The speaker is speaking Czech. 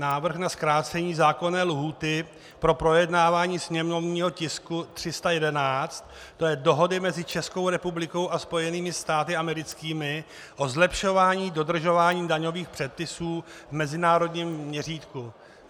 Návrh na zkrácení zákonné lhůty pro projednávání sněmovního tisku 311, to je Dohody mezi Českou republikou a Spojenými státy americkými o zlepšování dodržování daňových předpisů v mezinárodním měřítku.